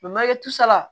tusala